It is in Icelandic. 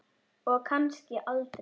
Og kannski aldrei.